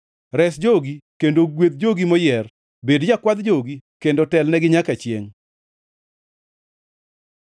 Res jogi kendo gwedh jogi moyier bed Jakwadh jogi kendo telnegi nyaka chiengʼ.